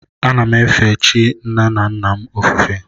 Ana m efe chi nna nna m ofufe.